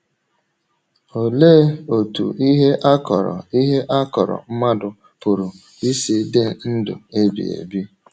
Olee otú ihe a kọ̀rọ̀ ihe a kọ̀rọ̀ mmadụ pụrụ isi dị ndụ ebighị ebi?